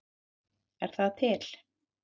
Er það til?